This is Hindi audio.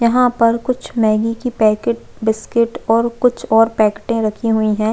यहाँ पर कुछ मैग्गी की पैकेट बिस्किट और कुछ और पैकेट रखी हुई है।